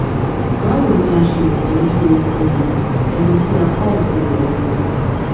báwo ni a ṣe lè tọ́jú um ẹni tí apá òsì rẹ̀ rọ?